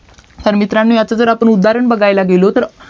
तर मित्रांनो ह्याच जर उदाहरण बघायला गेलो तर